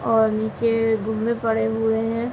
और नीचे पड़े हुए हैं।